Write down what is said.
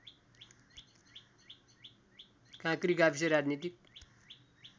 काँक्री गाविस राजनीतिक